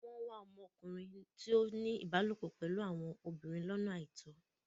Wọ́n ń wá okùnrin tó ń ní ìbálòpọ̀ pẹ̀lú àwọn obìnrin lọ́nà àìtọ́.